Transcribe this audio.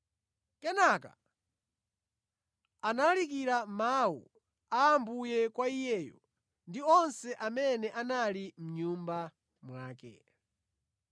Kenaka analalikira mawu a Ambuye kwa iyeyo ndi onse amene anali mʼnyumba mwake.